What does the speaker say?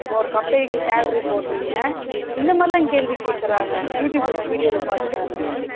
இப்போ ஒரு company salary போடுறிங்க இந்த மாதிரிலாம் கேள்வி கேக்ககுறங்க youtube video பாத்தேன் நானு